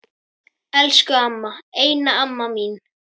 Elsku amma, eina amma mín.